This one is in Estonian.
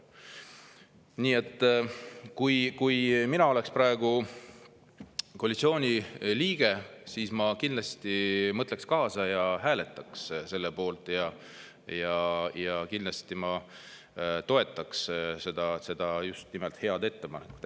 Nii et kui mina oleks praegu koalitsiooni liige, siis ma kindlasti mõtleks kaasa ja hääletaks selle poolt ja kindlasti ma toetaks seda head ettepanekut.